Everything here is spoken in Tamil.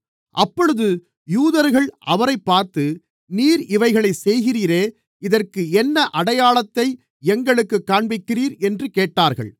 அப்பொழுது யூதர்கள் அவரைப் பார்த்து நீர் இவைகளைச் செய்கிறீரே இதற்கு என்ன அடையாளத்தை எங்களுக்குக் காண்பிக்கிறீர் என்று கேட்டார்கள்